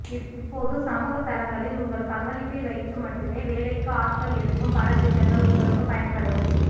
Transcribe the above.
இப்போது சமூக தளங்களில் உங்கள் பங்களிப்பை வைத்து மட்டுமே வேலைக்கு ஆட்கள் எடுக்கும் பல திட்டங்கள் உங்களுக்கு பயன்படும்